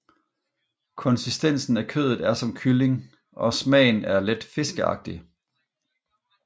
Konsistensen af kødet er som kylling og smagen er let fiskeagtig